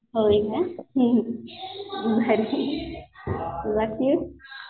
होय का भारी